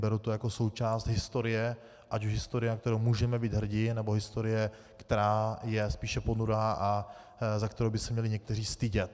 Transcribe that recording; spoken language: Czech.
Beru to jako součást historie, ať už historie, na kterou můžeme být hrdi, nebo historie, která je spíše ponurá a za kterou by se měli někteří stydět.